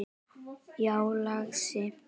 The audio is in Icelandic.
Já, lagsi.